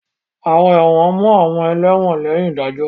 Àwọn ẹ̀wọ̀n mú àwọn ẹlẹ́wọ̀n lẹ́yìn ìdájọ́.